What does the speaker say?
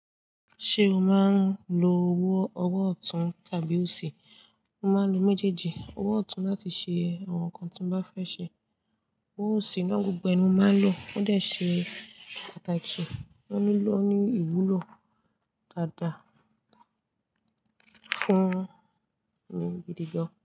Ṣé o máa ń lo owó ọwọ́ ọ̀tún tàbí òsì? Mo máa ń lo méjèèjì. Owó ọ̀tún láti ṣe àwọn nǹkan tí mo bá fẹ́ ṣe. Owó òsì náà gbogbo ẹ ni mo máa ń lò ó dẹ̀ ṣe pàtàkì. Ó ní ìwúlò dáadáa fún mi gidi gan.